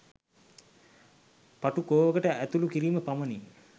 පටු කෝවකට ඇතුළු කිරීම පමණි.